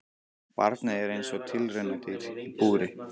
Barnið er eins og tilraunadýr í búri.